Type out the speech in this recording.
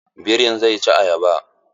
Birin zai ci ayaba.